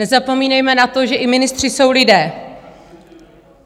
Nezapomínejme na to, že i ministři jsou lidé.